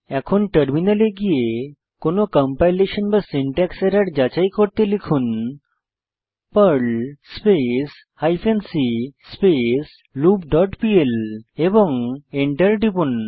এখন টার্মিনালে গিয়ে কোনো কম্পাইলেশন বা সিনট্যাক্স এরর যাচাই করতে লিখুন perl space hyphen c space loop dot PL এবং এন্টার টিপুন